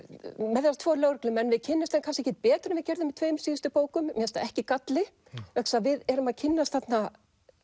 með þessa tvo lögreglumenn við kynnumst þeim kannski ekkert betur en við gerðum í tveim síðustu bókum mér finnst það ekki galli vegna þess að við erum að kynnast þarna